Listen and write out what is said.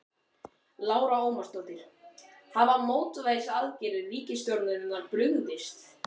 Lára Ómarsdóttir: Hafa mótvægisaðgerðir ríkisstjórnarinnar brugðist?